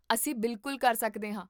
ਅਸੀਂ ਬਿਲਕੁਲ ਕਰ ਸਕਦੇ ਹਾਂ